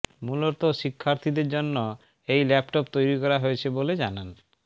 মূলত শিক্ষার্থীদের জন্য এই ল্যাপটপ তৈরি করা হয়েছে বলে জানান